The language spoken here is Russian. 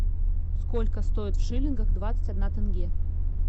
сколько стоит в шиллингах двадцать одна тенге